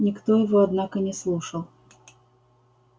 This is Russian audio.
никто его однако не слушал